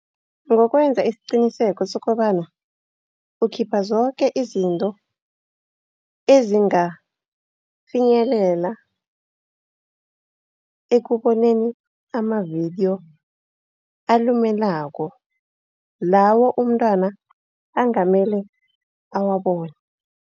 Ngokwenza isiqiniseko sokobana, ukhipha zoke izinto ezingafinyelela ekuboneni amavidiyo alumelako. Lawo umntwana angamele awabone.